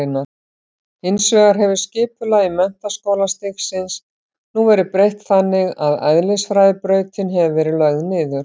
Hins vegar hefur skipulagi menntaskólastigsins nú verið breytt þannig að eðlisfræðibrautin hefur verið lögð niður.